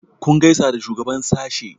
kun gaisa da shugaban sashe?